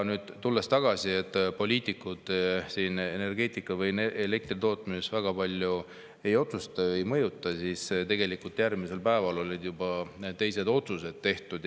Ja nüüd, tulles tagasi, et poliitikud energeetikas või elektri tootmises väga palju ei otsusta või ei mõjuta,, et tegelikult järgmisel päeval olid juba teised otsused tehtud.